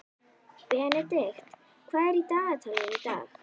Benedikt, hvað er í dagatalinu í dag?